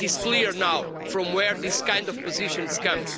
It is clear now from where these kind of positions come.